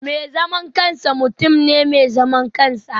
Mai zaman kansa mutum ne mai zaman kansa